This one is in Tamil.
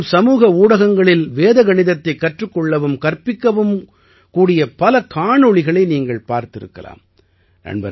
இப்போதெல்லாம் சமூக ஊடங்களில் வேத கணிதத்தைக் கற்றுக் கொள்ளவும் கற்பிக்கவும் கூடிய பல காணொளிகளை நீங்கள் பார்த்திருக்கலாம்